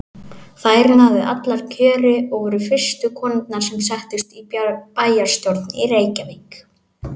Þær náðu allar kjöri og voru fyrstu konurnar sem settust í bæjarstjórn í Reykjavík.